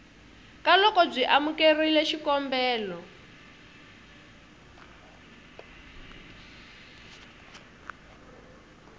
ka loko byi amukerile xikombelo